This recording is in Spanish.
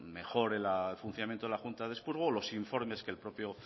mejore el funcionamiento de la junta de expurgo los informes que los propios